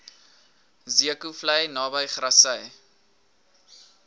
zeekoevlei naby grassy